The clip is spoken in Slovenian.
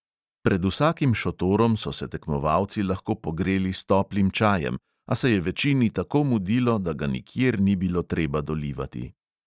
Pred vsakim šotorom so se tekmovalci lahko pogreli s toplim čajem, a se je večini tako mudilo, da ga nikjer ni bilo treba dolivati.